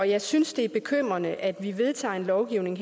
jeg synes det er bekymrende at vi her vedtager lovgivning